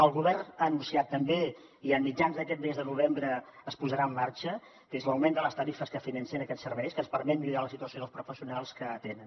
el govern ha anunciat també i a mitjans d’aquest mes de novembre es posarà en marxa l’augment de les tarifes que financen aquests serveis que ens permet millorar la situació dels professionals que l’atenen